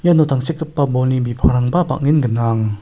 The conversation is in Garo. iano tangsekgipa bolni bipangrangba bang·en gnang.